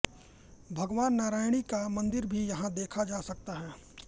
भगवान नारायणी का मंदिर भी यहां देखा जा सकता है